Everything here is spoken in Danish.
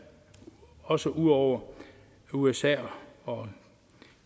også udover usa og